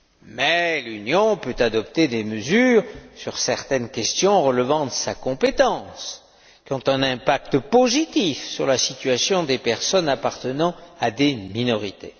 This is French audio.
Mais l'Union peut adopter des mesures sur certaines questions relevant de sa compétence, qui ont un impact positif sur la situation des personnes appartenant à des minorités.